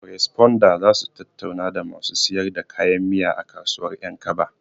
Koresponda zasu tattauna da masu siyar da kayan miya a kasuwar ƴankaba